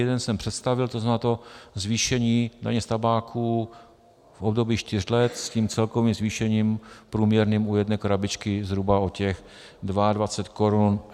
Jeden jsem představil, to znamená, to zvýšení daně z tabáku v období čtyř let s tím celkovým zvýšením průměrným u jedné krabičky zhruba o těch 22 korun.